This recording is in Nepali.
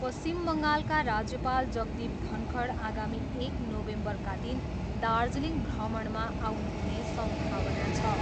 पश्चिम बङ्गालका राज्यपाल जगदीप धनखड आगामी एक नोभेम्बरका दिन दार्जिलिङ भ्रमणमा आउनुहुने सम्भावना छ।